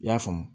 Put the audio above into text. I y'a faamu